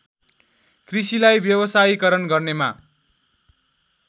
कृषिलाई व्यवसायीकरण गर्नेमा